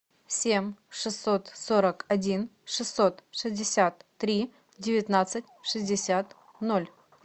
семь шестьсот сорок один шестьсот шестьдесят три девятнадцать шестьдесят ноль